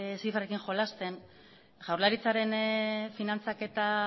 zifrekin jolasten jaurlaritzaren finantzaketa